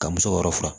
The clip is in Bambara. Ka muso yɔrɔ furan